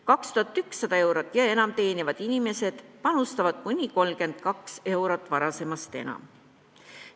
2100 eurot ja enam teenivad inimesed panustavad kuni 32 eurot varasemast enam.